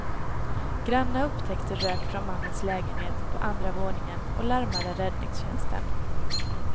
Grannar upptäckte rök från mannens lägenhet på andra våningen och larmade räddningstjänsten.